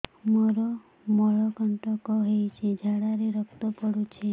ମୋରୋ ମଳକଣ୍ଟକ ହେଇଚି ଝାଡ଼ାରେ ରକ୍ତ ପଡୁଛି